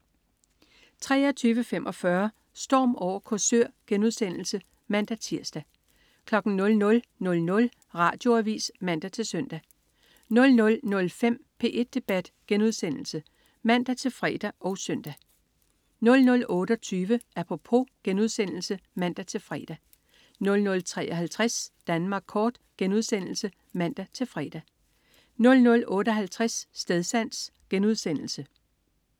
23.45 Storm over Korsør* (man-tirs) 00.00 Radioavis (man-søn) 00.05 P1 Debat* (man-fre og søn) 00.28 Apropos* (man-fre) 00.53 Danmark kort* (man-fre) 00.58 Stedsans*